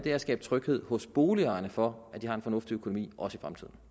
er at skabe tryghed hos boligejerne for at de har en fornuftig økonomi også